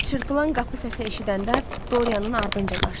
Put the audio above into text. Çırpılan qapı səsi eşidəndə Dorianın ardınca qaçdı.